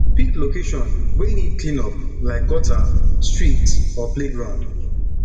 pick location wey need clean up like gutter street or playground